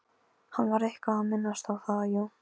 Hann var eitthvað að minnast á það, jú.